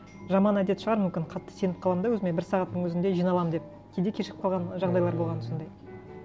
жаман әдет шығар мүмкін қатты сеніп қаламын да өзіме бір сағаттың өзінде жиналамын деп кейде кешігіп қалған жағдайлар болған сондай